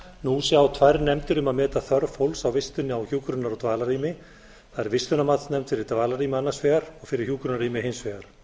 nú sjá tvær nefndir um að meta þörf fólks á vistun á hjúkrunar og dvalarrými það er vistunarmatsnefnd fyrir dvalarrými annars vegar og fyrir hjúkrunarrými hins vegar